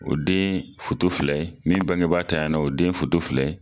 O den fuoto filɛ min bangebaga ntanya la, o den foto filɛ.